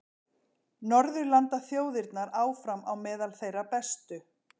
Norðurlandaþjóðirnar áfram á meðal þeirra bestu